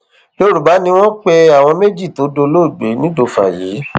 yorùbá ni wọn pe àwọn méjì tó dolóògbé nìdọfà yìí